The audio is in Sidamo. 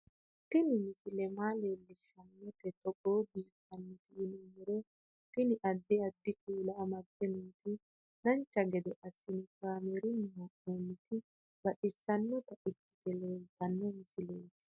Tini misile maa leellishshannote togo biiffinoti yinummoro tini. addi addi kuula amadde nooti dancha gede assine kaamerunni haa'noonniti baxissannota ikkite leeltanno misileeti